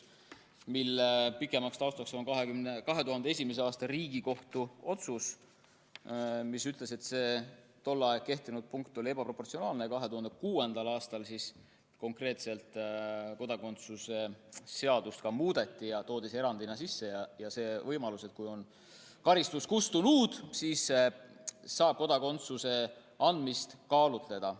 Selle taustaks on 2001. aasta Riigikohtu otsus, mis ütles, et tol ajal kehtinud punkt oli ebaproportsionaalne, misjärel 2006. aastal kodakondsuse seadust muudeti ja toodi sisse erandi võimalus, et kui karistus on kustunud, siis saab kodakondsuse andmist kaaluda.